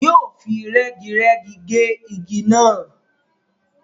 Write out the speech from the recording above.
Yóò fi rẹ́girẹ́gi ge igi náà.